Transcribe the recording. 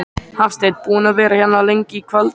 Hafsteinn: Búinn að vera hérna lengi í kvöld?